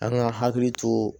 An ka hakili to